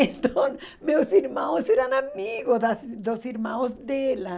Então meus irmãos eram amigos das dos irmãos dela.